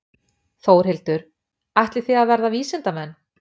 Þórhildur: Ætlið þið að verða vísindamenn?